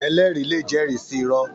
Èlèrí lé jèrí si irò